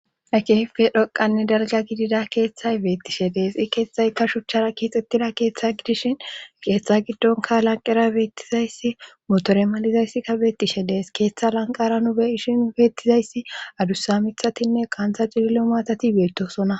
Kehipe dhoqanne dalga gidida keeththay beettishe deexi keeththaykka shuchara kiixxettida keeththa gidishin keeththa giddonka lanqera beettizayssi motore malizayssi ka beettishe dees keeththa lanqara nubeishi beettizayssi adussa mithatinne qaanta cililo maatati beettosona